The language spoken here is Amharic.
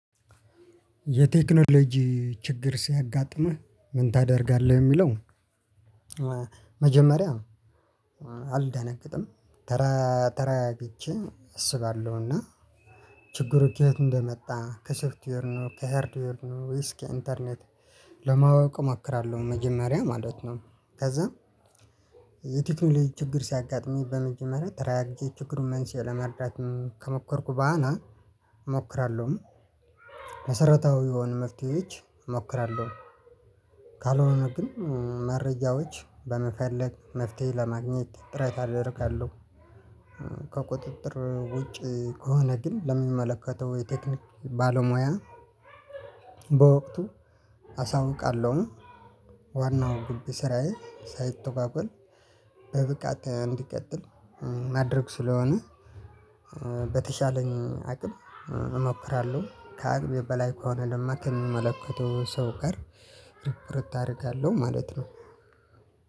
የቴክኖሎጂ ችግር ሲያጋጥምህ ምን ታደርጋለህ? የሚለው መጀመሪያ አልደነግጥም ተራ ተረጋግቼ አሰባለሁ እና ችግሩ ከዬት እንደመጣ ከሶፍትዌር ነው ከሄርድዌር ነው ወይስ ከኢንተርኔት ለማወቅ እመክራለሁ። መጀመሪያ ማለት ነው። ከዛ የቴክኖሎጂ ችግር ሲያጋጥሙኝ በመጀመሪያ ተረጋግቼ ችግሩን መንስኤ ለመረዳት ከሞከርኩ ብኋላ እሞክራለሁ። መሰረታዊ የሆኑ መፍትሄዎች እሞክራለሁ። ካልሆነ ግን መረጃዎች በመፈለግ መፍትሄ ለማግኘት ጥረት አደርጋለሁ። ከቁጥጥር ውጪ ከሆነ ግን ለሚመለከተው የቴክኒክ ባለሙያ በወቅቱ አሳውቃለሁኝ። ዋናው ግብ ስራዬ ሳይተጓጎል በብቃት እንዲቀጥል ማድረግ ስለሆነ። በተቻለኝ አቅም እሞክራለሁ። ከአቅሜ በላይ ከሆነ ደግሞ ከምመለከተው ሰው ጋር ርብርብ አደርጋለሁ ማለት ነው።